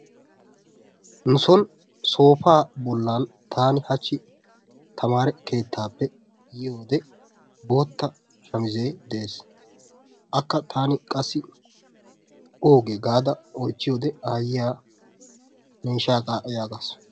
Nu soon soofa bollan tani hachchi tamare keettappe yiyode boottaa shamise de'ees. Akka tani qassi oogee gaada oychchiyode Aayiyaa ne ishshaga yagasu.